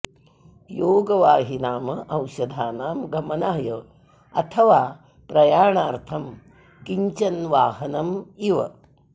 योगवाहि नाम औषधानां गमनाय अथवा प्रयाणार्थं किञ्चन वाहनम् इव